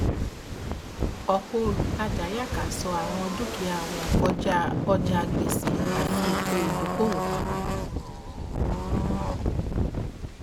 ọpọ olùtajà yàkàṣọọ àwọn dukia wọn kọjá ọjà gbèsè àti ètò ìdokoowó papọ